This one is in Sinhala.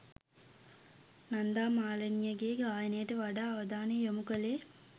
නන්දා මාලිනිය ගේ ගායනට වඩා අවධානය යොමු කළේ